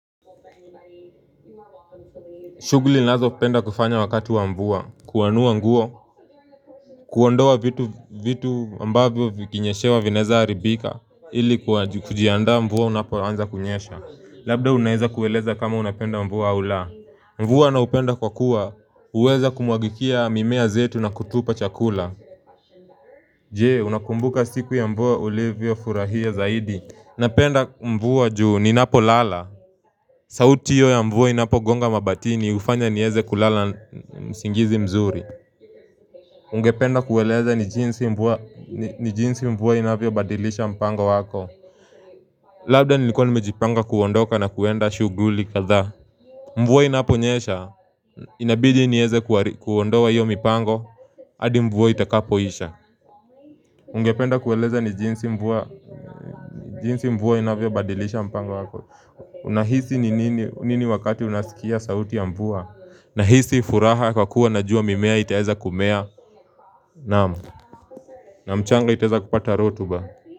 Shughuli ninazopenda kufanya wakati wa mvua kuanua nguo kuondoa vitu ambavyo vikinyeshewa vinaweza haribika ili kujianda mvua unapoanza kunyesha labda unaweza kueleza kama unapenda mvua au la Mvua naupenda kwa kuwa huweza kumwagikia mimea zetu na kutupa chakula Je? Unakumbuka siku ya mvua ulivyofurahia zaidi napenda mvua juu ninapolala sauti hio ya mvua inapogonga mabatini hufanya nieze kulala usingizi mzuri ungependa kueleza ni jinsi mvua inavyobadilisha mpango wako Labda nilikuwa nimejipanga kuondoka na kuenda shuguli kadhaa Mvua inaponyesha inabidi nieze kuondoa hiyo mipango adi mvua itakapoisha. Ungependa kueleza ni jinsi mvua inavyo badilisha mpango wako. Unahisi nini wakati unasikia sauti ya mvua Nahisi furaha kwa kuwa najua mimea itaeza kumea naam na mchanga itaweza kupata rotuba.